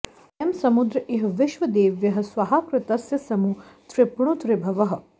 अ॒यं स॑मु॒द्र इ॒ह वि॒श्वदे॑व्यः॒ स्वाहा॑कृतस्य॒ समु॑ तृप्णुत ऋभवः